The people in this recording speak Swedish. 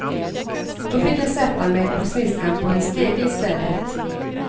Då fick jag sätta mig på sniskan på en stege i stället.